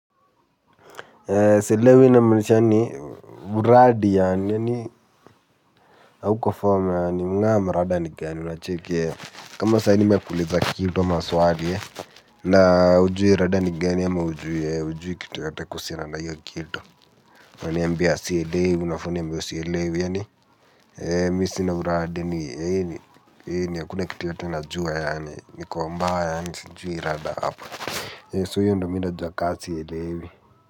Sielewi inamaanisha ni uradi yaani hauko form yaani mungama uradi ni gani unacheki yeah kama sahii nimekuuliza kitu ama swali yeah na hujui rada ni gani ama hujui kitu yoyote kuhusiana na hiyo kitu unaniambia sielewi unafaa sielewi yaani mimi sina uradi yaani hakuna kitu yoyote najua yaani niko mbaya yaani sijui rada hapa so hiyo ndo mimi najua ka sielewi Muzika.